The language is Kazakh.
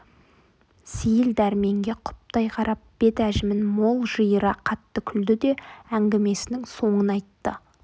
сейіл дәрменге құптай қарап бет әжімін мол жиыра қатты күлді де әңгімесінің соңын айтты